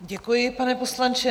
Děkuji, pane poslanče.